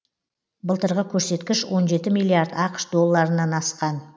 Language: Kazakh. былтырғы көрсеткіш он жеті миллиард ақш долларынан асқан